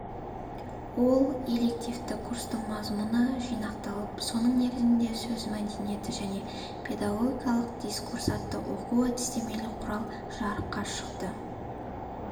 ол элективті курстың мазмұны жинақталып соның негізінде сөз мәдениеті және педагогикалық дискурс атты оқу-әдістемелік құрал жарыққа шықты